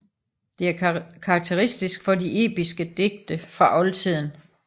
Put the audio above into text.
Det er karakteristisk for de episke digte fra oldtiden